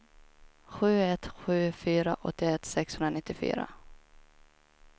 sju ett sju fyra åttioett sexhundranittiofyra